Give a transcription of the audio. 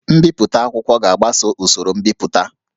Mbipụta akwụkwọ ga-agbaso usoro mbipụta